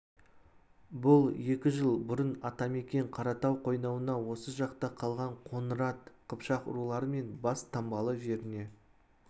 бұл екі жыл бұрын ата-мекен қаратау қойнауына осы жақта қалған қоңырат қыпшақ рулары мен бестаңбалы жеріне